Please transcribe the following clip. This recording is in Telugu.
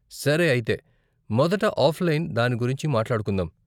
సరే అయితే, మొదట ఆఫ్లైన్ దాని గురించి మాట్లాడుకుందాం.